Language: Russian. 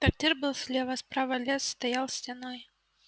трактир был слева справа лес стоял стеной